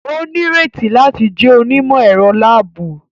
O nireti láti jẹ onimọ-ẹrọ laabu